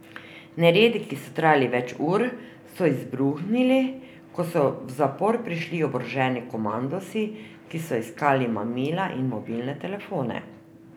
Neredi, ki so trajali več ur, so izbruhnili, ko so v zapor prišli oboroženi komandosi, ki so iskali mamila in mobilne telefone.